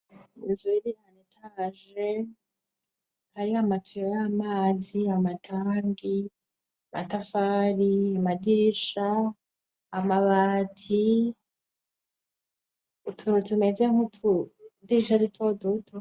Inzu iriranitage ari amatwiyo y'amazi, amatangi matafari amadirisha amabati utuntu tumeze nku tudirisha dutoduto.